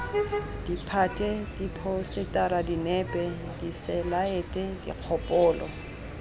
ditphate diphousetara dinepe diselaete dikgopolo